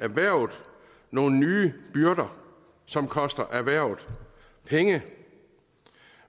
erhvervet nogle nye byrder som koster erhvervet penge